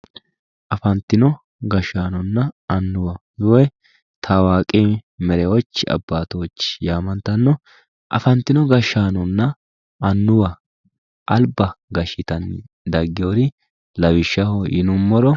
Afantino gashaanona anuwa, woy taawaaqi meriwochi abaatochi yaamantano, afantino gashaanona anuwa alba gashitani dagino lawishaho yinumoro